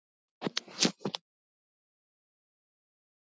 Hefur aldrei séð hann áður.